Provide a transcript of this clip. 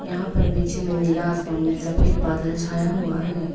यहां पर पीछे में नीला आसमान में सफेद बादल छाया हुआ है।